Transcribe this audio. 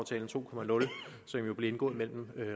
jo blev indgået mellem